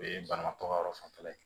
O ye banabaatɔ ka yɔrɔ fanfɛla ye